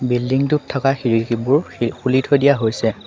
Building টোত থকা খিৰিকীবোৰ খুলি থৈ দিয়া হৈছে।